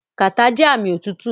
Kàtá jẹ́ ààmì òtútù.